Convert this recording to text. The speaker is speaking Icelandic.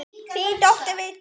Þín dóttir, Vigdís.